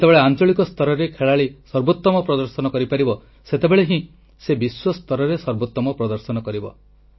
ଯେତେବେଳେ ଆଂଚଳିକ ସ୍ତରରେ ଖେଳାଳୀ ସର୍ବୋତମ ପ୍ରଦର୍ଶନ କରିପାରିବ ସେତେବେଳେ ହିଁ ସେ ବିଶ୍ୱ ସ୍ତରରେ ସର୍ବୋତ୍ତମ ପ୍ରଦର୍ଶନ କରିବ